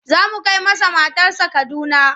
Za mu kai masa matarsa Kaduna.